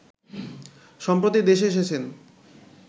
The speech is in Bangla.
সম্প্রতি দেশে এসেছেন